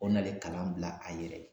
O nale kalan bila a yɛrɛ ye